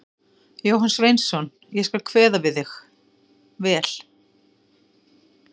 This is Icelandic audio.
Jóhann Sveinsson: Ég skal kveða við þig vel.